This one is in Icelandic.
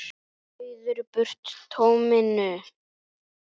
Ryður burt tóminu.